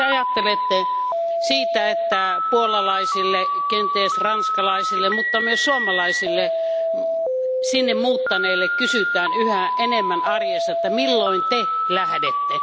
Mitä Te ajattelette siitä, että puolalaisilta, kenties ranskalaisilta, mutta myös suomalaisilta sinne muuttaneilta kysytään yhä enemmän arjessa, että milloin te lähdette?